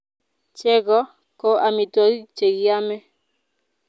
Chego ko amitwogik che kiamei